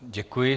Děkuji.